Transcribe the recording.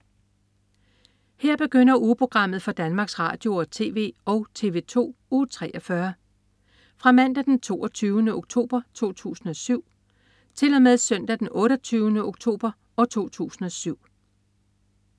Her begynder ugeprogrammet for Danmarks Radio- og TV og TV2 Uge 43 Fra Mandag den 22. oktober 2007 Til Søndag den 28. oktober 2007